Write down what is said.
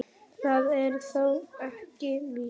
Það er þó ekki víst.